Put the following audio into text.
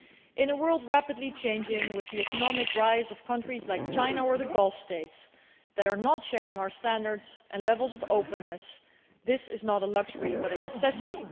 In a world which is rapidly changing, with the economic rise of countries like China or the Gulf states that do not share our standards and levels of openness, this is not a luxury, but a necessity.